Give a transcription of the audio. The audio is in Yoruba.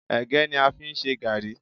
Ẹ̀gẹ́ ni a fi ń ṣe gààrí